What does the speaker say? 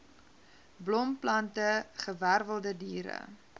blomplante gewerwelde diere